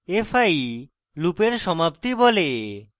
fi লুপের সমাপ্তি বলে